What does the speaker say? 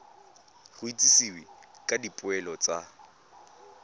go itsisiwe ka dipoelo tsa